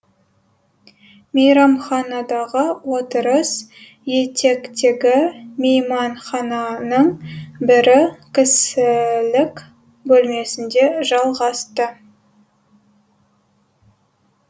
мейрамханадағы отырыс етектегі мейманхананың бірі кісілік бөлмесінде жалғасты